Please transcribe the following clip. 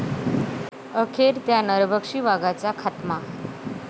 अखेर 'त्या' नरभक्षी वाघाचा खात्मा